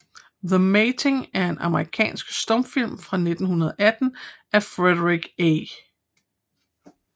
The Mating er en amerikansk stumfilm fra 1918 af Frederick A